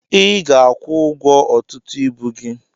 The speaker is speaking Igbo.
I ga akwụ ụgwọ ọtụtụ ibu gị.